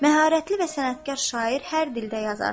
Məharətli və sənətkar şair hər dildə yazar.